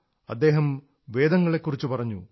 അദ്ദേഹം വേദങ്ങളെക്കുറിച്ചു പറഞ്ഞു